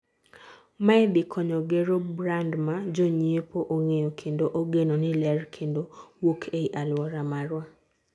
mae dhi konyo gero brand ma jonyiepo ong'eyo kendo ogeno ni ler kendo wuok ei aluora marwa